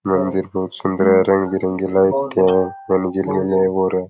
मंदिर बहुत सुन्दर है रंग बिरंगी लाइट दिखे है --